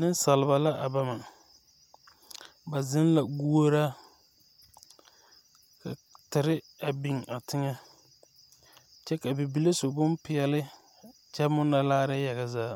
Neŋsalba la a bama ba zeŋ guoraa ka tire a biŋ a teŋɛ kyɛ ka bibile su bonpeɛle kyɛ munnɔ laare yaga zaa